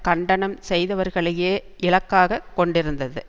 கண்டனம் செய்தவர்களையே இலக்காக கொண்டிருந்தது